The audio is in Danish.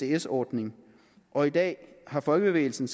isds ordning og i dag har folkebevægelsen